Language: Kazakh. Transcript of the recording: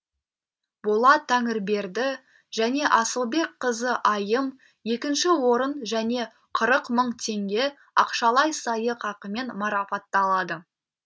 болат тәңірберді және асылбекқызы айым екінші орын және қырық мың теңге ақшалай сыйақымен марапатталады